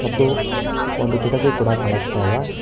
ಮತ್ತು ಒಂದು ಕಿಟಕಿ ಕೂಡ ಕಾಣಸ್ತಾ ಇದೆ.